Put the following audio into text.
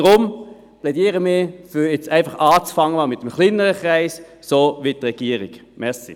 Deshalb plädieren wir dafür, jetzt einfach einmal mit dem kleineren Kreis zu beginnen, so wie es die Regierung vorschlägt.